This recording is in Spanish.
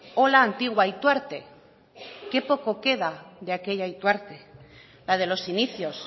o la antigua ituarte qué poco queda de aquella ituarte la de los inicios